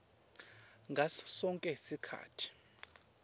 ngaso sonkhe sikhatsi